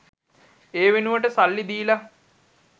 ඒ වෙනුවට සල්ලි දීලා